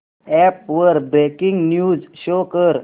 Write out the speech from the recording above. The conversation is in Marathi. अॅप वर ब्रेकिंग न्यूज शो कर